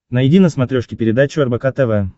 найди на смотрешке передачу рбк тв